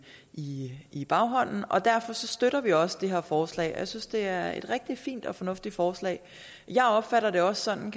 i baghånden og derfor støtter vi også det her forslag jeg synes det er et rigtig fint og fornuftigt forslag jeg opfatter det også sådan